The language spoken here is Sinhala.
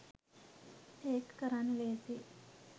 ඒක කරන්න ලේසියි